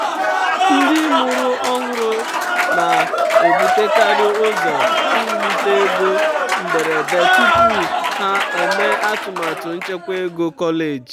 um ndị mụrụ ọhụrụ na-ebutekarị ụzọ um iwulite ego mberede tupu um ha emee atụmatụ nchekwa ego kọleji.